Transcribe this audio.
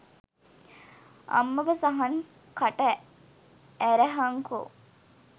අම්මප සහන් කට ඇරහංකො